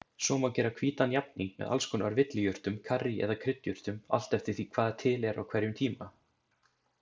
Svo má gera hvítan jafning með alls konar villijurtum, karrí eða kryddjurtum, allt eftir því hvað til er á hverjum tíma.